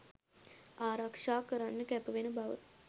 ආරක්ෂා කරන්න කැපවෙන බව